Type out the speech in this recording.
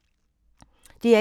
DR1